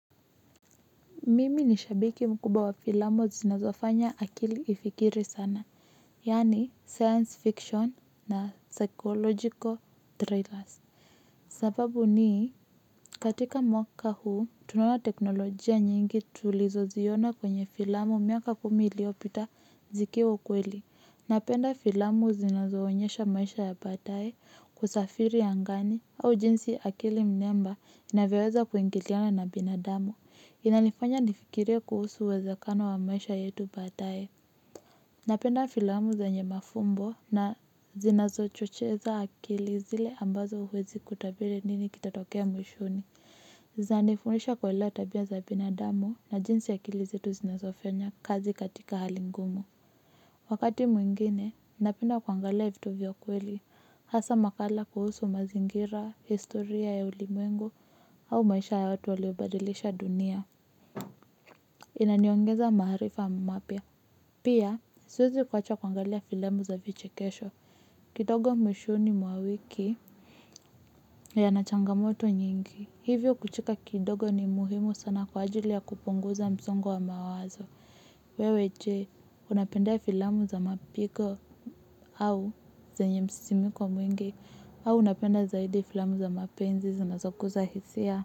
Mimi ni shabiki mkubwa wa filamu zinazofanya akili ifikiri sana. Yaani science fiction na psychological trailers. Sababu ni katika mwaka huu, tunaona teknolojia nyingi tulizoziona kwenye filamu miaka kumi iliyopita zikiwa ukweli. Napenda filamu zinazoonyesha maisha ya baadaye, kusafiri angani au jinsi akili mnemba inavyoweza kuingiliana na binadamu. Inanifanya nifikirie kuhusu uwezekano wa maisha yetu baadaye. Napenda filamu zenye mafumbo na zinazochocheza akili zile ambazo huwezi kutabiri nini kitatokea mwishoni. Zinanifundisha kuelewa tabia za binadamu na jinsi akili zetu zinazofanya kazi katika hali ngumu. Wakati mwingine napenda kuangalia vitu vya kweli hasa makala kuhusu mazingira, historia ya ulimwengu au maisha ya watu waliobadilisha dunia. Inaniongeza maarifa mapya. Pia siwezi kuacha kuangalia filamu za vichekesho. Kidogo mwishoni mwa wiki yana changamoto nyingi. Hivyo kucheka kidogo ni muhimu sana kwa ajili ya kupunguza msongo wa mawazo. Wewe je, unapenda filamu za mapigo au zenye msisimko mwingi? Au unapenda zaidi filamu za mapenzi zinazoguza hisia?